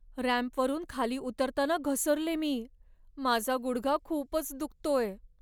रॅम्पवरून खाली उतरताना घसरले मी. माझा गुडघा खूपच दुखतोय.